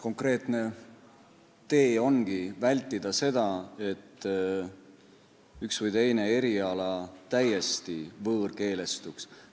Konkreetne tee ongi vältida seda, et üks või teine eriala täiesti võõrkeelestuks.